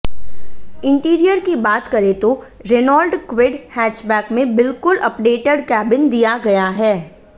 interior की बात करें तो रेनॉल्ट क्विड हैचबैक में बिल्कुल अपडेटेड केबिन दिया गया है